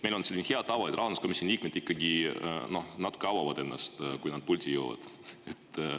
Meil on selline hea tava, et rahanduskomisjoni liikmed ikkagi natuke avavad ennast, kui nad pulti jõuavad.